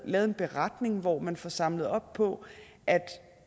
lavet en beretning hvor man får samlet op på